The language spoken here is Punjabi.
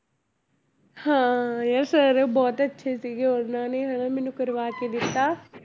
ਹਾਂ ਯਾਰ sir ਬਹੁਤ ਅੱਛੇ ਸੀਗੇ ਉਹਨਾਂ ਨੇ ਹੀ ਹਨਾ ਮੈਨੂੰ ਕਰਵਾ ਕੇ ਦਿੱਤਾ